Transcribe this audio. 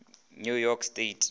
new york state